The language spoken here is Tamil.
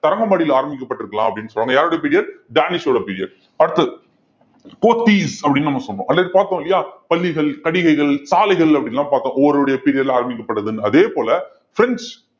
தரங்கம்பாடியில ஆரம்பிக்கப்பட்டு இருக்கலாம் அப்படின்னு சொல்றாங்க யாருடைய period டானிஷோட period அடுத்தது போத்தீஸ் அப்படின்னு நம்ம சொன்ன பார்த்தோம் இல்லையா பள்ளிகள் கடிகைகள் சாலைகள் அப்படி எல்லாம் பார்த்தோம் ஒவ்வொருடைய period ல ஆரம்பிக்கப்படுதுன்னு அதே போல பிரெஞ்சு